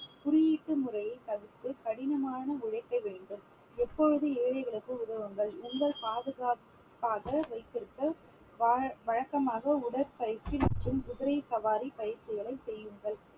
குறியீட்டு முறையை தவிர்த்து கடினமான உழைக்க வேண்டும் எப்பொழுதும் ஏழைகளுக்கு உதவுங்கள் உங்கள் பாதுகாப்பாக வைத்திருக்க வாழ~ வழக்கமாக உடற்பயிற்சி மற்றும் குதிரை சவாரி பயிற்சிகளை செய்யுங்கள்